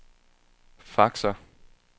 faxer